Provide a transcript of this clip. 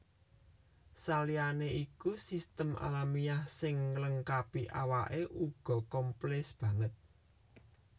Saliyané iku sistem alamiah sing nglengkapi awake uga komplès banget